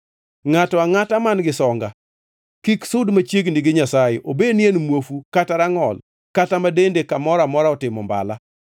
Ngʼato angʼata man-gi songa kik sud machiegni gi Nyasaye, obed ni en muofu kata rangʼol, kata ma dende kamoro otimo mbala,